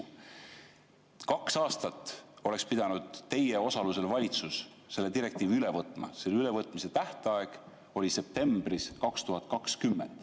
Kaks aastat oleks pidanud teie osalusel valitsus selle direktiivi üle võtma, selle ülevõtmise tähtaeg oli septembris 2020.